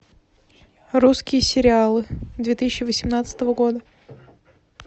русские сериалы две тысячи восемнадцатого года